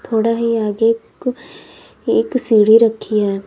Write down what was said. थोड़ा ही आगे को एक सीढ़ी रखी है।